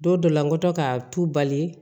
Don dɔ la n kɔtɔ ka tu bali